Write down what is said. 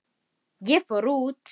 En of seinn.